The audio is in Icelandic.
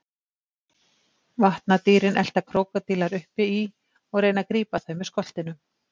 Vatnadýrin elta krókódílar uppi í og reyna að grípa þau með skoltinum.